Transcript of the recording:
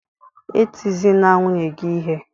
E tizina nwunye gị ihe!